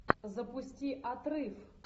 запусти отрыв